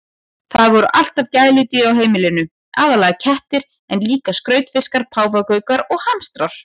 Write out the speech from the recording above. Það voru alltaf gæludýr á heimilinu, aðallega kettir en líka skrautfiskar, páfagaukar og hamstrar.